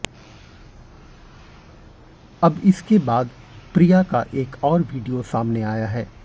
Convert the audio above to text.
अब इसके बाद प्रिया का एक और वीडियो सामने आया है